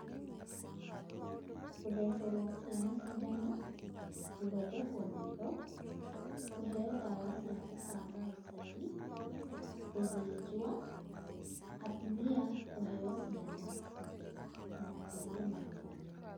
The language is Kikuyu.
Gũthecerwo ciana cindano, gũthondekwo maitho, kũheo ndawa cia kũbanga ũciari, gũthĩnjwo, atumia kũheo ciana na gũkũrwo magego.